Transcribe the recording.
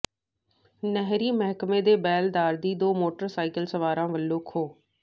ਨਹਿਰੀ ਮਹਿਕਮੇ ਦੇ ਬੇਲਦਾਰ ਦੀ ਦੋ ਮੋਟਰਸਾਈਕਲ ਸਵਾਰਾਂ ਵਲੋਂ ਖੋਹ